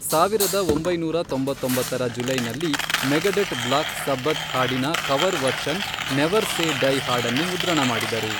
ಸಾವಿರದ ಒಂಬೈನೂರ ತೊಂಬತ್ತೊಂಬತ್ತರ ಜುಲೈನಲ್ಲಿ ಮೆಗಡೆಟ್ ಬ್ಲಾಕ್ ಸಬ್ಬಥ್ ಹಾಡಿನ cover version never say die ಹಾಡನ್ನು ಮುದ್ರಣಮಾಡಿದರು.